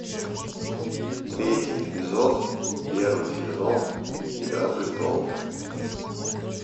третий эпизод первый сезон игра престолов